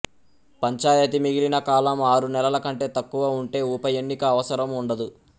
పంచాయతీ మిగిలిన కాలం ఆరు నెలల కంటే తక్కువ ఉంటే ఉప ఎన్నిక అవసరం ఉండదు